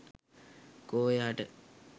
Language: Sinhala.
කෝ එයාට?